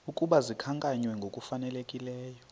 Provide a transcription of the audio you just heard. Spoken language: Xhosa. ukuba zikhankanywe ngokufanelekileyo